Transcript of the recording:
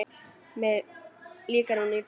Mér líkar hún illa.